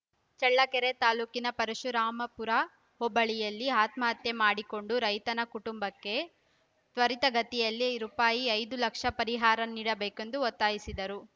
ಚಳ್ಳಕೆರೆ ತಾಲೂಕಿನ ಪರಶುರಾಂಪುರ ಹೋಬಳಿಯಲ್ಲಿ ಆತ್ಮಹತ್ಯೆ ಮಾಡಿಕೊಂಡ ರೈತನ ಕುಟುಂಬಕ್ಕೆ ತ್ವರಿತಗತಿಯಲ್ಲಿ ರೂ ಪಾಯಿ ಐದು ಲಕ್ಷ ಪರಿಹಾರ ನೀಡಬೇಕೆಂದು ಒತ್ತಾಯಿಸಿದರು